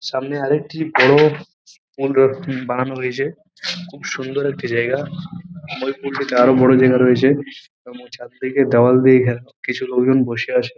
সামনে আরেকটি বড় মূল ডোর বানানো হয়েছে খুব সুন্দর একটি জায়গা নদীর পুল টি দারুন আরো বড় জায়গা রয়েছে এবং চারদিকে দেয়াল দিয়ে ঘেরা কিছু লোকজন বসে আছে ।